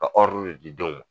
Ka de di denw ma